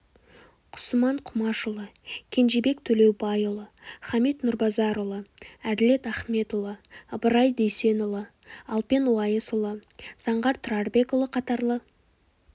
құсыман құмашұлы кенжебек төлеубайұлы хамит нұрбазарұлы әділет ахметұлы ыбырай дүйсенұлы алпен уайысұлы заңғар тұрарбекұлы қатарлы